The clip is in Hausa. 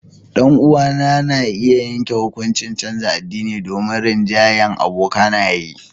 Danuwa na ya yanke hukuncin canza addini domin rinjahyan abokanaye.